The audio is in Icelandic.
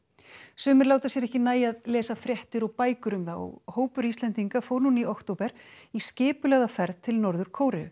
sumir láta sér ekki nægja að lesa fréttir og bækur um það og hópur Íslendinga fór núna í október í skipulagða ferð til Norður Kóreu